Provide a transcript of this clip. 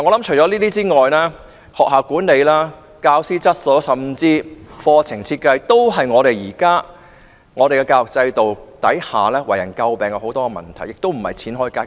此外，學校管理、教師質素甚至課程設計都是現有教育制度下為人詬病的問題，不是花錢便可以解決。